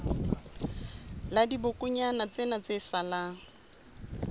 la dibokonyana tsena tse salang